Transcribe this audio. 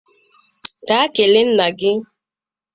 Gaa kelee nna gị!